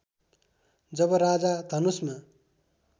जब राजा धनुषमा